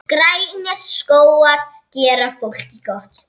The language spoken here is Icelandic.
Grænir skógar gera fólki gott.